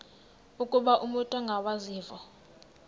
ukuba umut ongawazivo